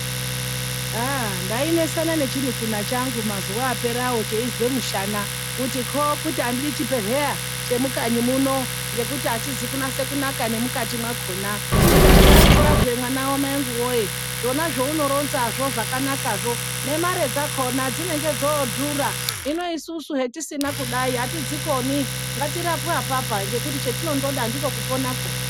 Ndainesana nechimunun'una changu mazuwa apera cheizwe mushana kuti andidi chibhedhlera chemukanyi muno ngekuti achizi kunasa kunaka nemukati makhona .Ndikati haiwa mwana wamai angu woye ,zvona zvaunoronza zvozvakanaka, nemare dzakhona dzinenge dzodhura .Hino isusu hetisina kudai atizodzikoni ngatirapwe apapa ngekuti chatinongoda ndiko kupona ukoko.